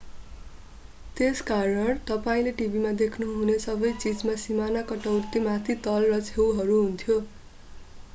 त्यसकारण तपाईंले टिभीमा देख्नुहुने सबै चीजमा सीमाना काटौती माथि तल र छेउहरू हुन्थ्यो